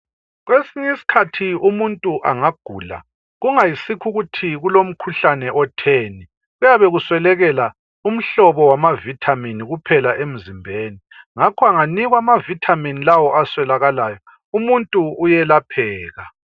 Kwesinye isikhathi umuntu engagula kungasikho ukuthi kulomkhuhlane otheni kuuyabe kuswelakala umhlobo wamavitamin kuphela emzimbeni ngakho enganikwa ama vitamin lawa aswelakalayo umuntu uyelapheka